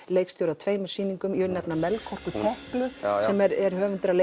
leikstjóri að tveimur sýningum ég vil nefna Melkorku Teklu sem er höfundur að